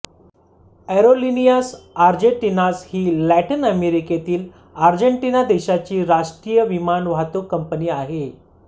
Aerolíneas Argentinas ही Latin अमेरिकेतील Argentina देशाची राष्ट्रीय विमान वाहतूक कंपनी आहे